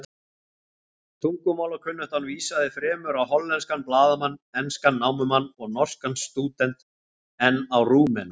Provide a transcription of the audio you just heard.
Tungumálakunnáttan vísaði fremur á hollenskan blaðamann, enskan námumann og norskan stúdent en á Rúmena.